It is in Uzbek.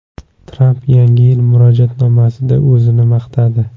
Tramp Yangi yil murojaatnomasida o‘zini maqtadi.